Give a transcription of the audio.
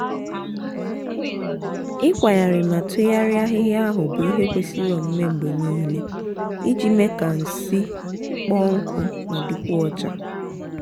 ikwagharị ma tụgharịa ahịhịa ahụ bu ihe kwesiri omume mgbe niile iji mee ka nsị kpọọ nkụ ma dịkwuo ọcha.